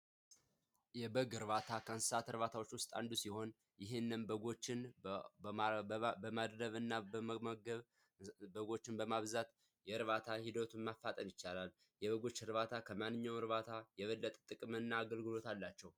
የበግ እርባታ ከእንስሳት እርባታዎች ውስጥ አንዱ ሲሆን፤ ይህንም በጎችን በማድለብና በመመገብ በጎችን በማብዛት የእርባታ ሒደቱን ማፋጠን ይቻላል። የበጎች እርባታ ከማንኛውም እርባታ የበለጠ ጥቅምና አገልግሎት አላቸው።